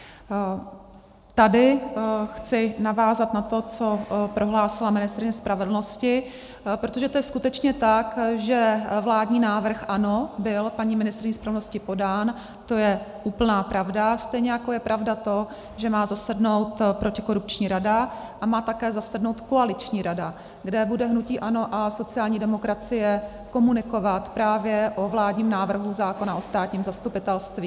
Tady chci navázat na to, co prohlásila ministryně spravedlnosti, protože to je skutečně tak, že vládní návrh, ano, byl paní ministryní spravedlnosti podán, to je úplná pravda, stejně jako je pravda to, že má zasednout protikorupční rada a má také zasednout koaliční rada, kde bude hnutí ANO a sociální demokracie komunikovat právě o vládním návrhu zákona o státním zastupitelství.